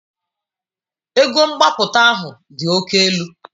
Ego mgbapụta ahụ dị oke elu.